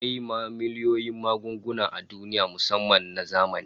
Akwai miliyoyin magunguna a duniya musamman na zamani